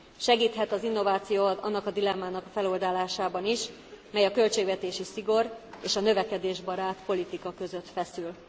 Segíthet az innováció annak a dilemmának feloldásában is, mely a költségvetési szigor és a növekedésbarát politika között feszül.